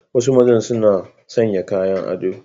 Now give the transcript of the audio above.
Wasu maza suna sanya kayan ado.